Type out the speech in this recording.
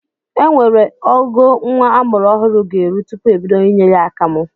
Enwere ogo nwa amụrụ ọhụrụ ga-eru tupu ebido inye ya akamụ.